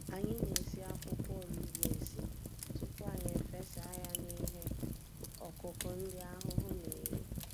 Anyị na-esi akwụkwọ olugbu esi, tupu anyị efesa ya n'ihe ọkụkụ ndị ahụhụ n'eri.